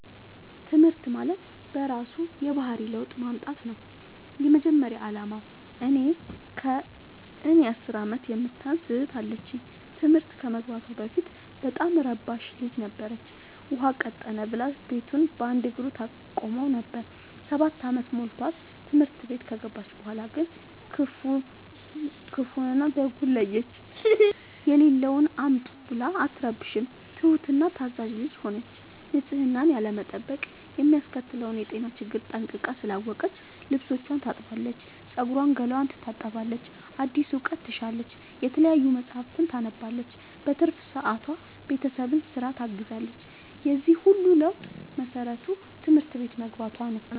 ትምህርት ማለት በእራሱ የባህሪ ለውጥ ማምጣት ነው የመጀመሪያ አላማው። እኔ ከእኔ አስር አመት የምታንስ እህት አለችኝ ትምህርት ከመግባቷ በፊት በጣም እረባሽ ልጅ ነበረች። ውሃ ቀጠነ ብላ ቤቱን በአንድ እግሩ ታቆመው ነበር። ሰባት አመት ሞልቶት ትምህርት ቤት ከገባች በኋላ ግን ክፋውን እና ደጉን ለየች። የሌለውን አምጡ ብላ አትረብሽም ትሁት እና ታዛዣ ልጅ ሆነች ንፅህናን ያለመጠበቅ የሚያስከትለውን የጤና ችግር ጠንቅቃ ስላወቀች ልብስቿን ታጥባለች ፀጉሯን ገላዋን ትታጠባለች አዲስ እውቀት ትሻለች የተለያዩ መፀሀፍትን ታነባለች በትርፍ ሰዓቷ ቤተሰብን ስራ ታግዛለች የዚህ ሁሉ ለውጥ መሰረቱ ትምህርት ቤት መግባቶ ነው።